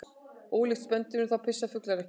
Ólíkt spendýrum þá pissa fuglar ekki.